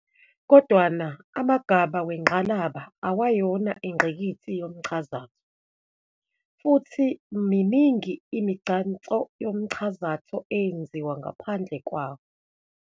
Kodwana, amagabha wengqalaba awayona ingqikithi yomchazatho, futhi miningi imigcanso yomchazatho eyenziwa ngaphandle kwawo.